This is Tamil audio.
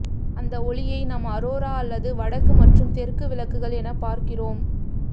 அந்த ஒளியை நாம் அரோரா அல்லது வடக்கு மற்றும் தெற்கு விளக்குகள் என பார்க்கிறோம்